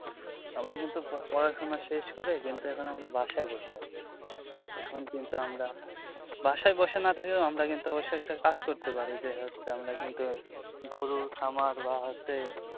আমরা কিন্তু পড়াশুনা শেষ করে কিন্তু এখন আমরা বাসায় বসে আছি এখন কিন্তু আমরা বাসায় বসে না থেকেও আমরা কিন্তু অবশ্যই একটা কাজ করতে পারি যে হচ্ছে আমরা কিন্তু গরু খামার বা হচ্ছে